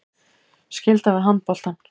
Skylda við handboltann